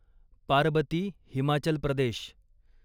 Parbati Himachal Pradesh